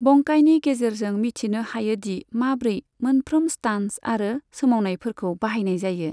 बंकाइनि गेजेरजों मिथिनो हायो दि माब्रै मोनफ्रोम स्टान्स आरो सोमावनायफोरखौ बाहायनाय जायो।